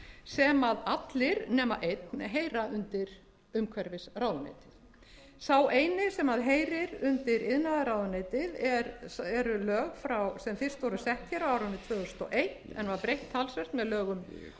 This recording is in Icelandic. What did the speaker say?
sem allir nema einn heyra undir umhverfisráðuneytið sá eini sem heyrir undir iðnaðarráðuneytið eru lög sem fyrst voru sett á árinu tvö þúsund og eitt en var breytt talsvert með lögum